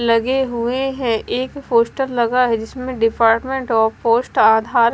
लगे हुए हैं एक पोस्टर लगा है जिसमें डिपार्टमेंट ऑफ पोस्ट आधार--